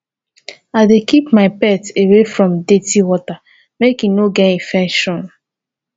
i dey keep my pet away from dirty water make e no get infection